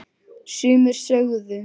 Sumir sögðu